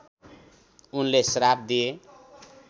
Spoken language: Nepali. उनले श्राप दिए